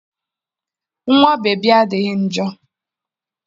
Nwa bebi adịghị njọ.